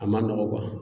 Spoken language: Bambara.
A man nɔgɔ